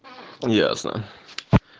ясно